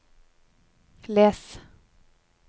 les